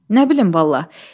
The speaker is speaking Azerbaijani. Nə bilim vallah.